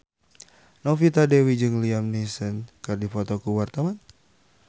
Novita Dewi jeung Liam Neeson keur dipoto ku wartawan